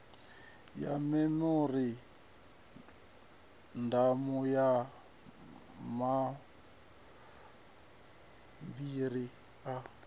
ya memorandamu na mabambiri a